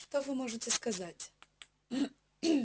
что вы можете сказать